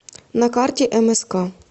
на карте мск